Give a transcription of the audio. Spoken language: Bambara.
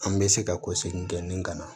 An bɛ se ka ko segin kɛ ni ka na